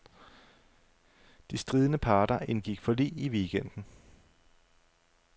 De stridende parter indgik forlig i weekenden.